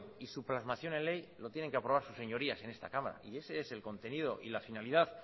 y su plasmación en ley lo tienen que aprobar sus señorías en esta cámara y ese es el contenido y la finalidad